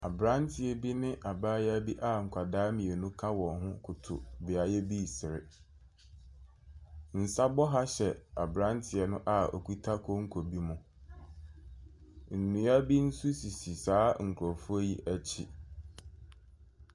Aberanteɛ bi ne abaayewa bi a nkwadaa bi ka wɔn ho koto beaeɛ bi resere. Nsa bɔha hyɛ aberanteɛ no a okita konko bi mu. Nnua bi sisi saa nkurɔfoɔ yi akyi.